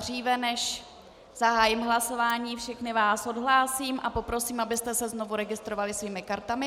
Dříve než zahájím hlasování, všechny vás odhlásím a poprosím, abyste se znovu registrovali svými kartami.